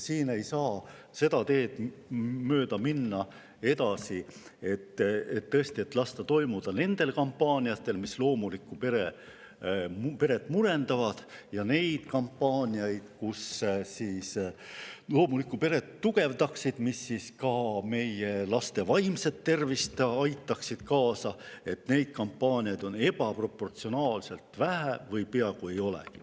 Siin ei saa seda teed mööda edasi minna, et me laseme toimuda nendel kampaaniatel, mis loomulikku peret murendavad, aga selliseid kampaaniaid, mis loomulikku peret tugevdaksid ja ka meie laste vaimse tervise kaasa aitaksid, on ebaproportsionaalselt vähe või neid peaaegu ei olegi.